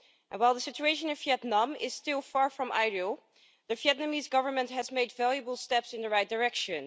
While the situation in Vietnam is still far from ideal, the Vietnamese Government has made valuable steps in the right direction.